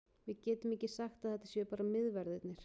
Við getum ekki sagt að þetta séu bara miðverðirnir.